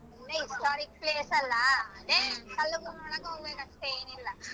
ಅದೇ historic place ಅಲ ಅದೇ ಕಲ್ಲುಗಳ್ ನೋಡಕ್ ಹೋಗ್ಬೇಕ್ ಅಷ್ಟೇ ಮತ್ತೆ ಏನಿಲ್ಲ